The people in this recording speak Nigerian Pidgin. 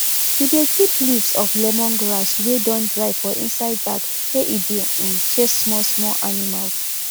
we dey keep leaves of lemongrass wey don dry for inside bag make e dey um chase small small animals